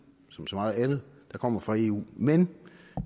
som så meget andet der kommer fra eu men